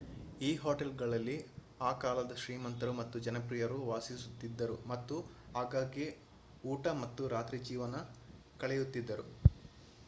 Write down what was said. ಈ ಹೋಟೆಲ್‌ಗಳಲ್ಲಿ ಆ ಕಾಲದ ಶ್ರೀಮಂತರು ಮತ್ತು ಜನಪ್ರಿಯರು ವಾಸಿಸುತ್ತಿದ್ದರು ಮತ್ತು ಆಗಾಗ್ಗೆ ಊಟ ಮತ್ತು ರಾತ್ರಿ ಜೀವನ ಕಳೆಯುತ್ತಿದ್ದರು